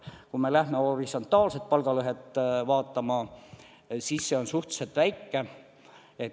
Kui me lähme horisontaalset palgalõhet vaatama, siis see on suhteliselt väike.